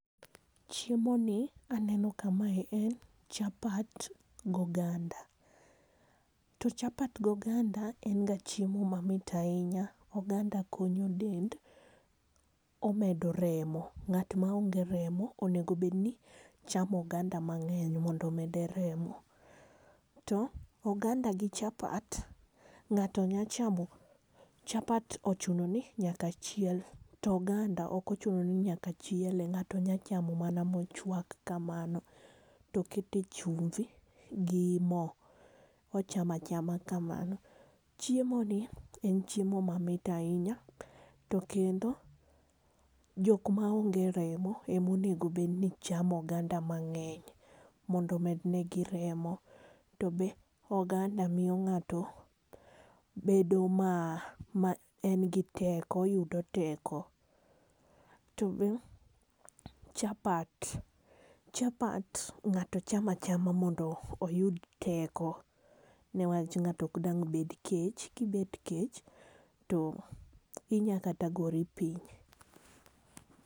Chiemoni aneno ka mae en chapat gi oganda. To chapat gi oganda en ga chiemo mamit ahinya. Oganda konyo del omedo remo. Ng'at maonge remo onego obedni chamo oganda mang'eny mondo omede remo. To oganda gi chapat, ng'ato nyalo chamo chapat ochuno ni nyaka chiel to oganda ok ochuno ni nyaka chiele ng'ato nyalo chamo mana mochuak kamano to okete chumbi gi mo. O